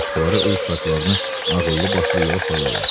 Başqaları öz uşaqlarını ağıllı başlı yola salırlar.